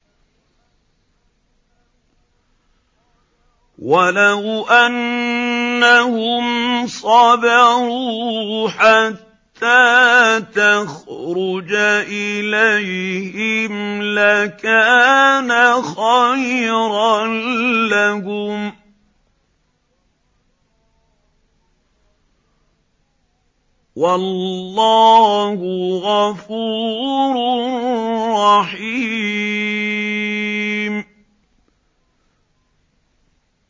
وَلَوْ أَنَّهُمْ صَبَرُوا حَتَّىٰ تَخْرُجَ إِلَيْهِمْ لَكَانَ خَيْرًا لَّهُمْ ۚ وَاللَّهُ غَفُورٌ رَّحِيمٌ